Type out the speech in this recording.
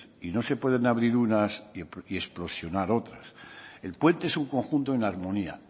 y no se pueden abrir unas y explosionar otras el puente es un conjunto en armonía